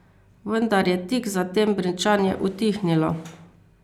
Vendar je tik zatem brenčanje utihnilo.